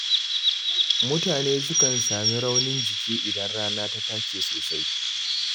Mutane sukan sami raunin jiki idan rana ta take sosai.